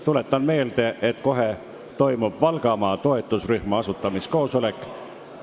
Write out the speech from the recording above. Tuletan meelde, et kohe toimub siin Valgamaa toetusrühma asutamiskoosolek.